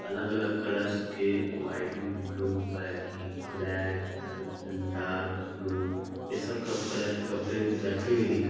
अलग-अलग कलर्स के white blue बैगनी ब्लैक डार्क ब्लू ये सब कब कलर के कपड़े रखे हुए दिख--